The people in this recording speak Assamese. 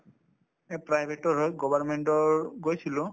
এই private ৰ হয় government ৰ গৈছিলো